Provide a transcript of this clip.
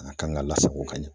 A kan ka lasago ka ɲɛ .